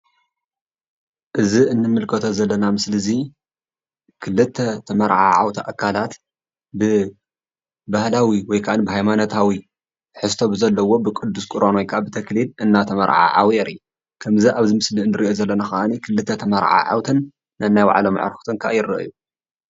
እዚ እንምልከቶ ዘለና ምስሊ እዚ ክልተ ተመራዓውቲ አካላት ብባህላዊ ወይ ካዓ ሃይማኖታዊ ትሕዝቶን ብዘለዎን ብቅዱስ ቅርባን ወይ ካዓ ብተክሊል እናትመርዓዓውን የርኢ፡፡ አብዚ ምስሊ እንሪኦ ዘለና ካዓ ክልተ ተመራዓዓውትን ነናይ ባዕሎም አዕርክቲ አ ይረአዩ፡፡